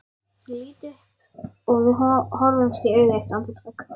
Ég lít upp og við horfumst í augu eitt andartak.